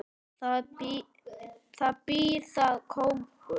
Það býr þar kóngur.